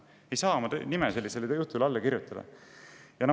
Ei saa oma nime sellisele jutule alla kirjutada.